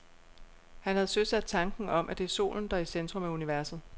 Han havde søsat tanken om, at det er solen, der er i centrum af universet.